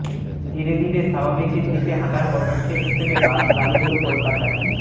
ধীরে ধীরে স্বাভাবিকের দিকে হাঁটার পদক্ষেপ হিসেবে বাস চালু হল কলকাতায়